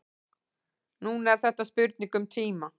Núna er þetta spurning um tíma.